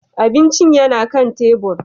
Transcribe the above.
Abincin yana kan tebur.